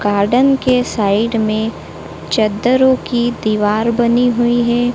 Garden के side में चद्दरो की दीवार बनी हुई है।